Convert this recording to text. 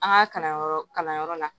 An ka kalanyɔrɔ kalanyɔrɔ la